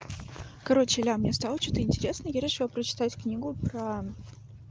короче лям мне стало что-то интересно я решила прочитать книгу про